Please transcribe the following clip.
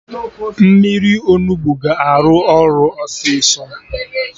Mmiri Onugbu ga-arụ ọrụ ọsịsọ